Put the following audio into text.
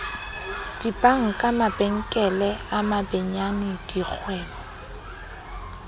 dibanka mabenkele a mabenyane dikgwebo